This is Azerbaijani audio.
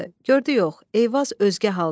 Gördü yox, Eyvaz özgə haldadır.